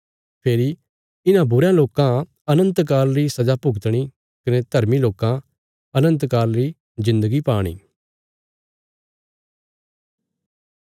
फेरी इन्हां बुरयां लोकां अनन्त काल री सजा भुगतणी कने धर्मी लोकां अनन्त काल री जिन्दगी पाणी